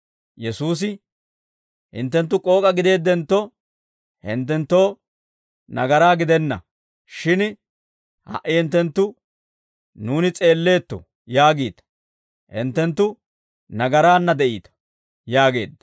Yesuusi, «Hinttenttu k'ook'a gideeddentto, hinttenttoo nagaraa gidenna; shin ha"i hinttenttu, ‹Nuuni s'eelleetto› yaagiita; hinttenttu nagaraanna de'iita» yaageedda.